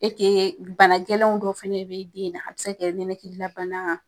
bana gɛlɛnw dɔ fana bi den na, a bi se ka nɛnɛkilila bana